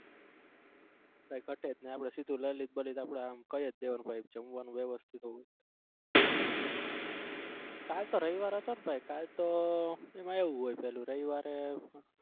કઈ ઘટે જ નઈ આપડે સીધું લલિત બલિત આપડે કઈ જ દેવાનું ભાઈ જમવાનું વ્યવસ્થિત હોવું કાલ તો રવિવાર હતો ને ભાઈ કાલ તો આમ એવું હોય પેલું રવિવારે.